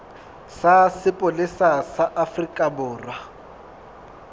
sa sepolesa sa afrika borwa